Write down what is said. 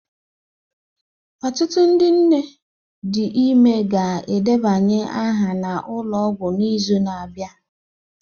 Ọtụtụ ndị nne dị ime ga-edebanye aha na ụlọ ọgwụ n'izu na-abịa